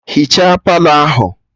Hichaa Palọ ahụ!